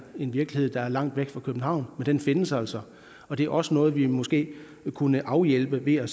en virkelighed der er langt væk fra københavn men den findes altså og det er også noget vi måske kunne afhjælpe ved at